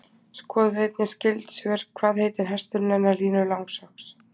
Skoðið einnig skyld svör: Hvað heitir hesturinn hennar Línu Langsokks?